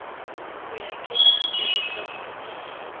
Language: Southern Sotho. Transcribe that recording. ho a kenya tshebetsong e